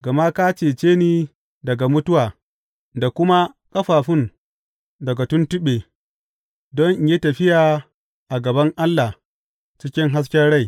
Gama ka cece ni daga mutuwa da kuma ƙafafun daga tuntuɓe, don in yi tafiya a gaban Allah cikin hasken rai.